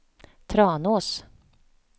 Tranås